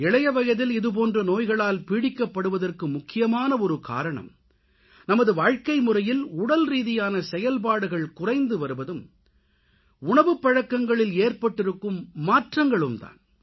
இளைய வயதில் இது போன்ற நோய்களால் பீடிக்கப்படுவதற்கு முக்கியமான ஒரு காரணம் நமது வாழ்க்கைமுறையில் உடல்ரீதியான செயல்பாடுகள் குறைந்து வருவதும் உணவுப்பழக்கங்களில் ஏற்பட்டிருக்கும் மாற்றங்களும் தான்